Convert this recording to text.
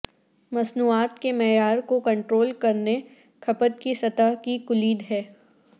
مصنوعات کے معیار کو کنٹرول کرنے کھپت کی سطح کی کلید ہے